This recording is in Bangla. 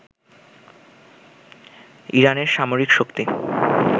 ইরানের সামরিক শক্তি